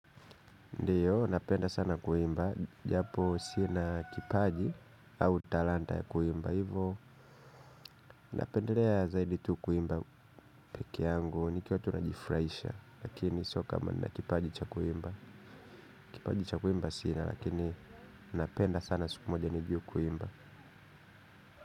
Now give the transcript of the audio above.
Ndiyo, napenda sana kuimba, japo sina kipaji au talanta ya kuimba ivo, napendelea zaidi tu kuimba peke yangu, nikiwa tu najifraisha. Lakini sio kama nina kipaji cha kuimba. Kipaji cha kuimba sina, lakini napenda sana siku moja nijue kuimba.